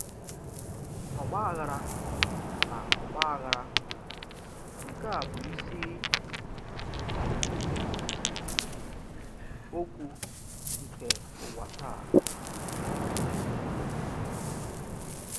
Ọ̀gbà àghàrà na ọ̀gbà àghàrà nke a bụ isi um okwu nke ụwa taa.